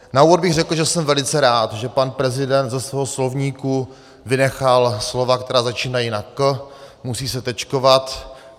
Na úvod bych řekl, že jsem velice rád, že pan prezident ze svého slovníku vynechal slova, která začínají na k, musí se tečkovat.